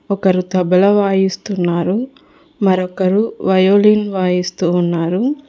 ఒకరు తబల వాయిస్తున్నారు మరొకరు వయోలిన్ వాయిస్తూ ఉన్నారు